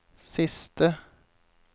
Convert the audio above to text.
siste